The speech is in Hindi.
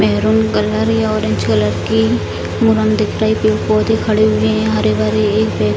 मैरून कलर या ऑरेंज कलर की पेड़ पौधे खड़े हुए हैं हरे-भरे --